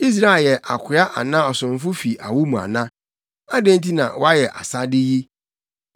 Israel yɛ akoa anaa ɔsomfo fi awo mu ana? Adɛn nti na wayɛ asade yi?